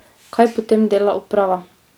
Kaj potem dela uprava?